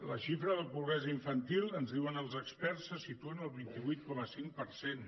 la xifra de pobresa infantil ens diuen els experts se situa en el vint vuit coma cinc per cent